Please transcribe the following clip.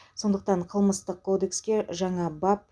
сондықтан қылмыстық кодекске жаңа бап